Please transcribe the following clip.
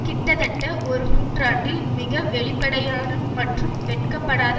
கிட்டத்தட்ட ஒரு நூற்றாண்டில் மிக வெளிப்படையான மற்றும் வெட்கப்படாத